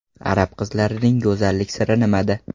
Arab qizlarining go‘zallik siri nimada?